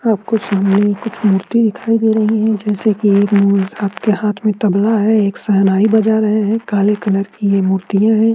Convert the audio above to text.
आपको सामने कुछ मूर्ति दिखाई दे रही हैं जैसे कि एक मू आपके हाथ में तबला हैं एक शहनाई बजा रहे हैं काले कलर की ये मुर्तिया हैं।